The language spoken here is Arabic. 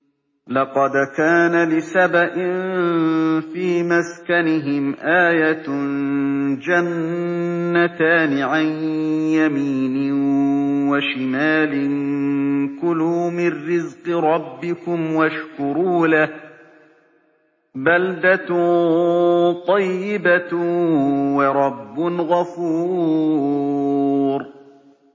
لَقَدْ كَانَ لِسَبَإٍ فِي مَسْكَنِهِمْ آيَةٌ ۖ جَنَّتَانِ عَن يَمِينٍ وَشِمَالٍ ۖ كُلُوا مِن رِّزْقِ رَبِّكُمْ وَاشْكُرُوا لَهُ ۚ بَلْدَةٌ طَيِّبَةٌ وَرَبٌّ غَفُورٌ